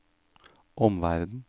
omverden